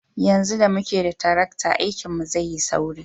Yanzu da muke da tarakta, aikinmu zai yi sauri.